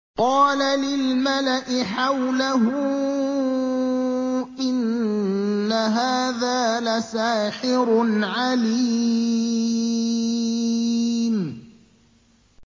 قَالَ لِلْمَلَإِ حَوْلَهُ إِنَّ هَٰذَا لَسَاحِرٌ عَلِيمٌ